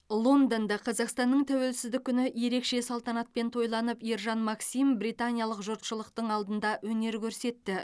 лондонда қазақстанның тәуелсіздік күні ерекше салтанатпен тойланып ержан максим британиялық жұртшылықтың алдында өнер көрсетті